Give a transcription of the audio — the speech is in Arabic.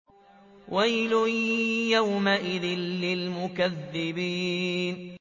وَيْلٌ يَوْمَئِذٍ لِّلْمُكَذِّبِينَ